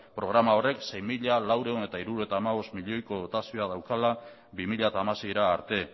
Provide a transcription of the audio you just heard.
programa horrek sei mila laurehun eta hirurogeita hamabost milioko dotazioa daukala bi mila hamaseira arte